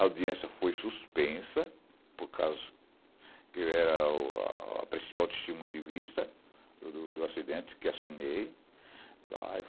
A audiência foi suspensa, por causa que eu era a a a principal testemunha de vista do do acidente que assinei.